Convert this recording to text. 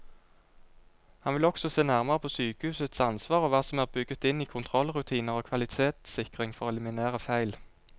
Han vil også se nærmere på sykehusets ansvar og hva som er bygget inn i kontrollrutiner og kvalitetssikring for å eliminere feil.